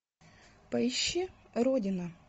поищи родина